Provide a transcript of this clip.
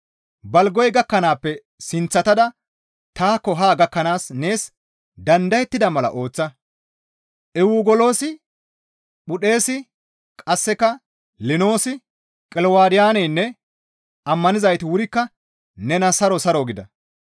Balgoy gakkanaappe sinththetada taakko haa gakkanaas nees dandayettida mala ooththa. Ewuguloosi, Phudeesi, qasseka Linoosi, Qilawudiyaynne ammanizayti wurikka nena saro saro gida.